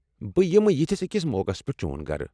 بہٕ یمہٕ یِتھِس أکِس موقعس پٮ۪ٹھ چون گرٕ۔